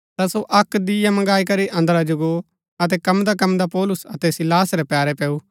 ता सो अक्क दिय्आ मँगाईकरी अंदरा जो गो अतै कम्मदा कम्मदा पौलुस अतै सीलास रै पैरै पैऊ